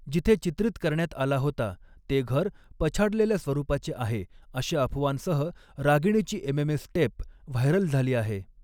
जिथे चित्रीत करण्यात आला होता ते घर पछाडलेल्या स्वरूपाचे आहे अशा अफवांसह रागिणीची एमएमएस टेप व्हायरल झाली आहे.